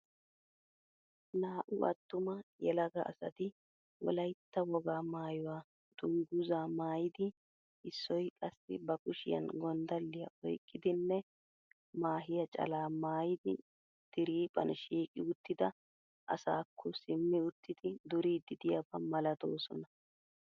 Naa'u attuma yelaga asati wolaitta wogaa maayuwa dunguzaa maayidi issoy qassi ba kushshiyan gonddaliya oyqqidinne maahiya calaa maayidi diriiphphan shiiqi uttida asaakko simi uttid duriid diyabaa malatoosona.